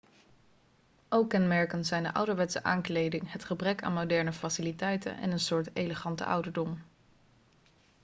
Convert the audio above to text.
ook kenmerkend zijn de ouderwetse aankleding het gebrek aan moderne faciliteiten en een soort elegante ouderdom